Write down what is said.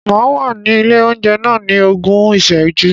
Màá wà ní ilé oúnjẹ náà ní ogún ìsẹ́jú.